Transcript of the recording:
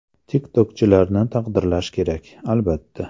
TikTok’chilarni taqdirlash kerak, albatta.